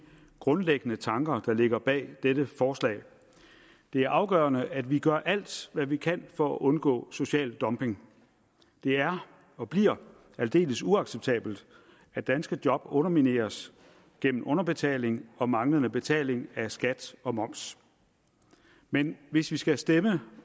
grundlæggende tanker der ligger bag dette forslag det er afgørende at vi gør alt hvad vi kan for at undgå social dumping det er og bliver aldeles uacceptabelt at danske job undermineres gennem underbetaling og manglende betaling af skat og moms men hvis vi skulle stemme